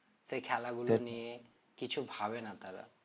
সে খেলা গুলো নিয়ে কিছু ভাবে না তারা